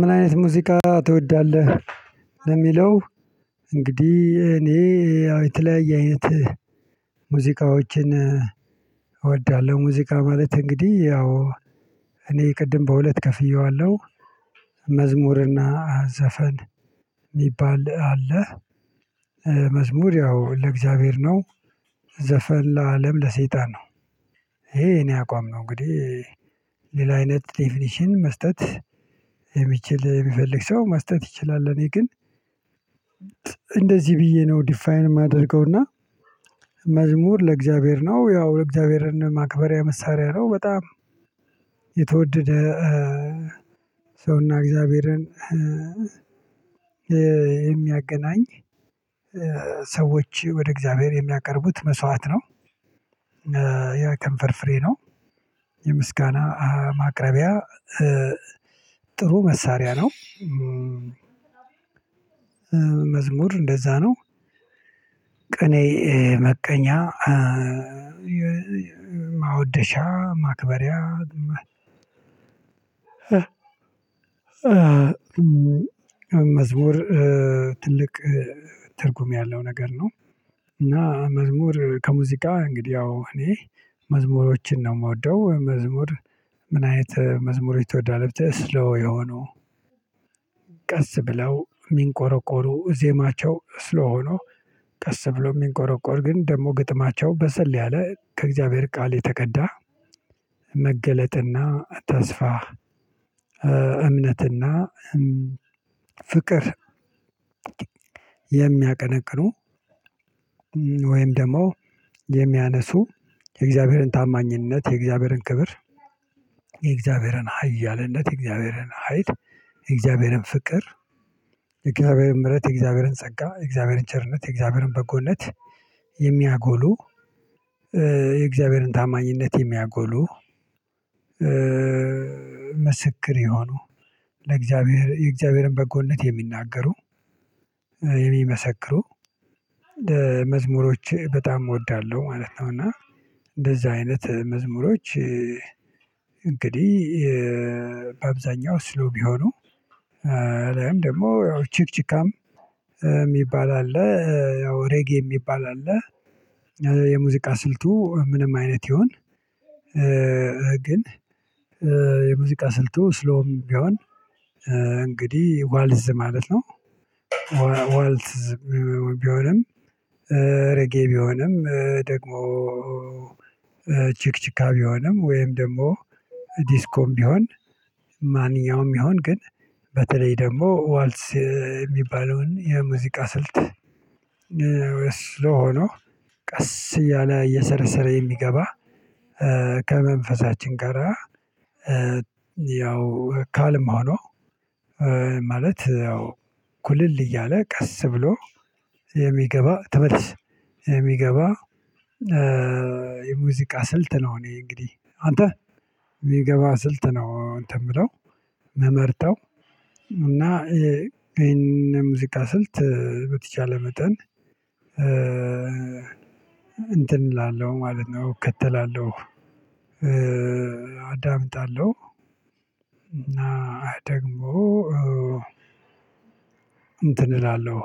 ምን አይነት ሙዚቃ ትወዳለህ? ለሚለው እንግዲህ እኔ ያው የተለያየ አይነት ሙዚቃዎችን እወዳለሁ ሙዚቃ ማለት እንግዲህ ያው እኔ ቅድም በሁለት ከፍየዋለሁ። መዝሙርና ዘፈን የሚባል አለ። መዝሙር ያው ለእግዚአብሔር ነው ዘፈን ለአለም ለሰይጣን ነው። ይሄ የኔ አቋም ነው እንግዲህ። ሌላ አይነት ዴፊኒሽን መስጠት የሚችል የሚፈልግ ሰው ማስተዋወቅ ይችላል። እኔ ግን እንደዚህ ብዬ ነው ዲፋይን የማደርገውና። መዝሙር ለእግዚአብሔር ነው ያው ለእግዚአብሔርን ማክበሪያ መሳሪያ ነው። በጣም የተወደደ ሰውና እግዚአብሔርን የሚያገናኝ ሰዎች ወደ እግዚአብሔር የሚያቀርቡት መስዋዕት ነው። ያ ከንፈር ፍሬ ነው የምስጋና ማቅረቢያ ጥሩ መሳሪያ ነው። መዝሙር እንደዛ ነው ቅኔ መቀኛ ማወደሻ ማክበሪያ መዝሙር ትልቅ ትርጉም ያለው ነገር ነው። እና መዝሙር ከሙዚቃ እንግዲህ ያው እኔ መዝሙሮችን ነው የምወደው መዝሙር። ምን አይነት መዝሙሮች ትወዳለህ? ብትለኝ ስለው የሆኑ ቀስ ብለው የሚንቆረቆሩ ዜማቸው ስሎው ሆኖ ቀስ ብሎ የሚንቆረቆር ግን ደግሞ ግጥማቸው በሰል ያለ ከእግዚአብሔር ቃል የተቀዳ። መገለጥና ተስፋ እምነትና ፍቅር የሚያቀነቅኑ ወይም ደግሞ የሚያነሱ የእግዚአብሔርን ታማኝነት የእግዚአብሔርን ክብር የእግዚአብሔርን ሃያለነት የእግዚአብሔርን ሀይል የእግዚአብሔርን ፍቅር የእግዚአብሔርን ምህረት የእግዚአብሔርን ጸጋ የእግዚአብሔርን ቸርነት የእግዚአብሔርን በጎነት። የሚያጎሉ የእግዚአብሔርን ታማኝነት የሚያጎሉ ምስክር የሆኑ ለእግዚአብሔር የእግዚአብሔርን በጎነት የሚናገሩ የሚመሰክሩ መዝሙሮች በጣም እወዳለሁ። ማለት ነው እና እንደዛ አይነት መዝሙሮች እንግዲህ በአብዛኛው ስሎው ቢሆኑ አልያም ደግሞ ያው ችክችካም የሚባል አለ። ያው ሬጌ የሚባል አለ። የሙዚቃ ስልቱ ምንም አይነት ይሁን ግን የሙዚቃ ስልቱ ስሎዉም ቢሆን እንግዲህ ዋልዝ ማለት ነው። ዋልዝ ቢሆንም ረጌ ቢሆንም ደግሞ ችክችካ ቢሆንም ወይም ደግሞ ዲስኮም ቢሆን ማንኛውም ቢሆን ግን በተለይ ደግሞ ዋልስ የሚባለውን የሙዚቃ ስልት። ወይ ስሎው ሆኑ ቀስ እያለ እየሰረሰረ የሚገባ ከመንፈሳችን ጋራ ያው ካልም ሆኖ ማለት ያው ኩልል እያለ ቀስ ብሎ የሚገባ ተመልስ የሚገባ የሙዚቃ ስልት ነው። እኔ እንግዲህ አንተ የሚገባ ስልት ነው አንተ የምለው ምመርጠው እና ይሄን የሙዚቃ ስልት በተቻለ መጠን እንትን እላለሁ ማለት ነው እከተላለሁ። አዳምጣለሁ እና ደግሞ እንትን እላለሁ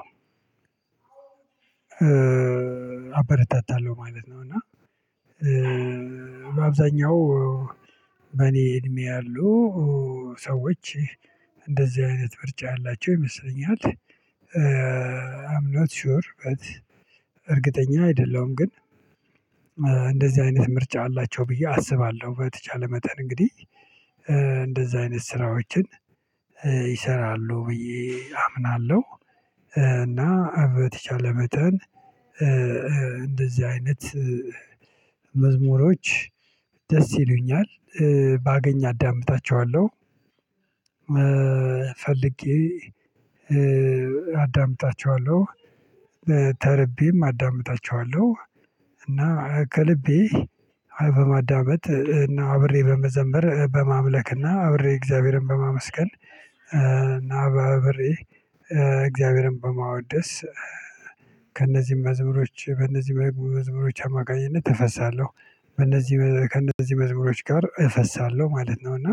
አበረታታለሁ ማለት ነው። እና በአብዛኛው በእኔ እድሜ ያሉ ሰዎች እንደዚህ አይነት ምርጫ ያላቸው ይመስለኛል። አም ናት ሹር በት እርግጠኛ አይደለሁም ግን እንደዚህ አይነት ምርጫ አላቸው ብዬ አስባለሁ። በተቻለ መጠን እንግዲህ እንደዛ አይነት ስራዎችን ይሰራሉ ብዬ አምናለሁ። እና በተቻለ መጠን እንደዚህ አይነት መዝሙሮች ደስ ይሉኛል ባገኝ አዳምጣቸዋለሁ ፈልጌ አዳምጣቸዋለሁ። ተርቤም አዳምጣቸዋለሁ እና ከልቤ በማዳመጥ እና አብሬ በመዘምር በማምለክ እና አብሬ እግዚአብሔርን በማመስገን። ና አብሬ እግዚአብሔርን በማወደስ ከእነዚህ መዝሙሮች በእነዚህ መዝሙሮች አማካኝነት እፈሳለሁ በእነዚህ ከእነዚህ መዝሙሮች ጋር እፈሳለሁ ማለት ነው። እና